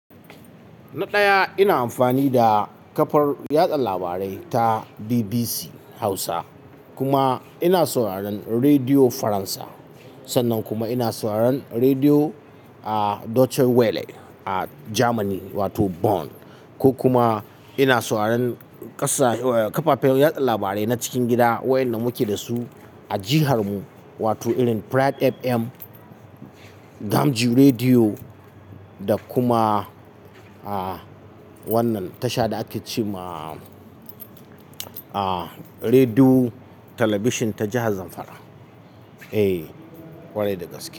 Na ɗaya ina amfani da kafar yaɗa labarai ta BBC Hausa kuma ina sauraron Radiyo Faransa. Sannan kuma ina sauraron Rediyo Deutsche Welle a Jamani wato Bonn. Ko kuma ina sauraron ƙasa-- kafafen yaɗa labarai na cikin gida waɗanda muke da su a jihar mu, wato irin Pride FM, gamji Rediyo da kuma, ah, wannan tashar da ake ce ma, ah, Rediyo Talabishin ta Jihar Zamfara. Eh, kwarai da gaske.